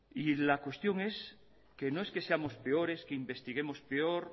la cuestión es que no es que seamos peores que investiguemos peor